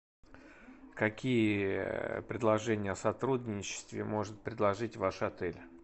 какие предложения о сотрудничестве может предложить ваш отель